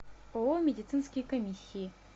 ооо медицинские комиссии